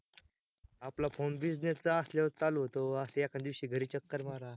आपला phonebusiness चा असल्यावर चालू होतो, अस एकानं दिवशी घरी चक्कर मारा